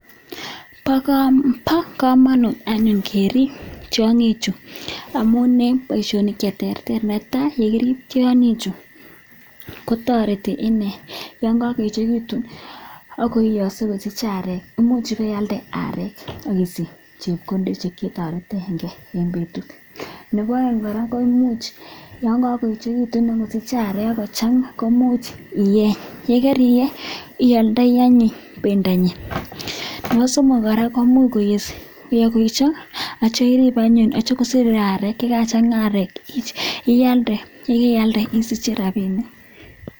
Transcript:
pakamuun kerip tiangi chuu amun tariti icheeck yakakoechikitu komuch inyoru areek ako ndaldei areee chutok komuch inyoruu rapisheek chechaaang cheimuchuu iyaatee paishoninik kuk alak chechaaang